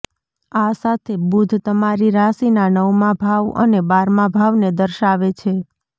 આ સાથે બુધ તમારી રાશિના નવમાં ભાવ અને બારમા ભાવને દર્શાવે છે